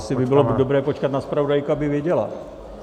Asi by bylo dobré počkat na zpravodajku, aby věděla.